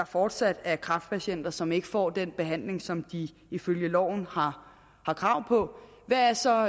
fortsat er kræftpatienter som ikke får den behandling som de ifølge loven har krav på hvad er så